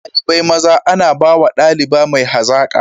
Shugabar dalibai maza ana bawa daliba mai hazaka.